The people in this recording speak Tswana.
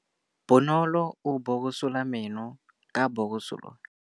Bonolô o borosola meno ka borosolo ya motšhine.